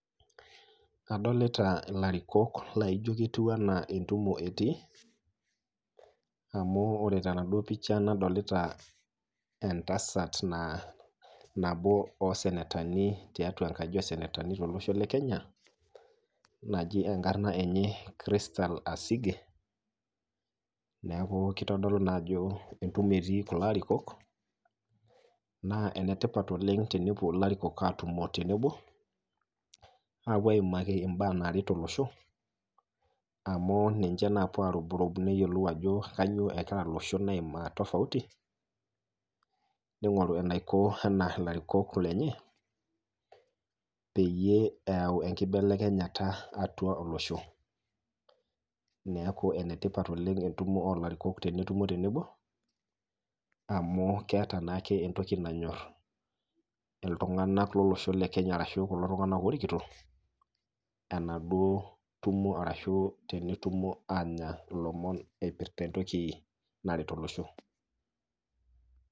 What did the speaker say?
Adolita ilarikok laijo ketiu enaa entumo etii ,amu ore tenaduo picha nadolita enatasat nabo osenetani tiatua enkaji osenetani tolosho lekenya naji enkaran enye Christile asinge, neeku kitodolu naa ajo entumo etii kulo arikok, naa enetipata naa tenepuo ilarikok atumo tenebo apuo aimaki mbaa naret olosho ,amu ninche naa opuo arubrub neyiolou ajo kainyoo egira loshon aimaa tofauti ,neingoru enaikoni ena larikok lenye peyie eyau enkibelekenyata atua olosho ,neeku enetipata oleng entumo oolarikok tenetumo tenebo amu keeta naake entoki nanyor iltunganak lolosho lekenya ashu iltunganak oorikito ena duo tom ashu tenetumo aanya ilomon eipirta entoki naret olosho.